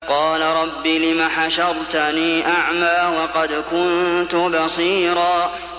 قَالَ رَبِّ لِمَ حَشَرْتَنِي أَعْمَىٰ وَقَدْ كُنتُ بَصِيرًا